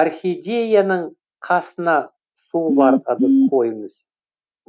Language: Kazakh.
орхидеяның қасына суы бар ыдыс қойыңыз